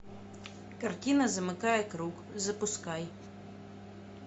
картина замыкая круг запускай